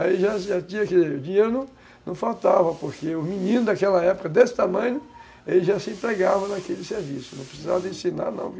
Aí já tinha, quer dizer, o dinheiro não faltava, porque o menino daquela época desse tamanho, ele já se empregava naquele serviço, não precisava de ensinar não,